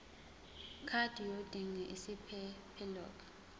card yodinga isiphephelok